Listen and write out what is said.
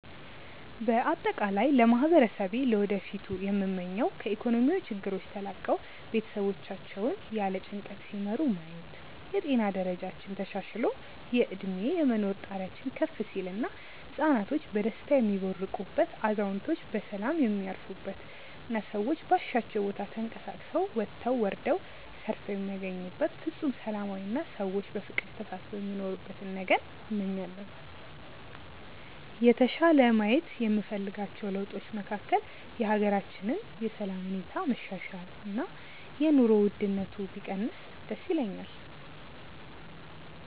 በአጠቃላይ ለማህበረሰቤ ለወደፊቱ ምመኘው ከኢኮኖሚያዊ ችግሮች ተላቀው ቤተሰቦቻቸውን ያለ ጭንቀት ሲመሩ ማየት፣ የጤና ደረጃችን ተሻሽሎ የእድሜ የመኖር ጣሪያችን ከፍ ሲል እና ህፃናቶች በደስታ የሚቦርቁበት፣ አዛውንቶች በሰላም የሚያርፉበት እና ሰዎች ባሻቸው ቦታ ተንቀሳቅሰው ወጥተው ወርደው ሰርተው የሚያገኙበት ፍፁም ሰላማዊ አና ሰዎች በፍቅር ተሳስበው የሚኖሩበትን ነገን እመኛለሁ። የተሻለ ማየት የምፈልጋቸው ለውጦች መካከል የሀገራችንን የሰላም ሁኔታ መሻሻል እና የኑሮ ውድነቱ ቢቀንስ ደስ ይለኛል።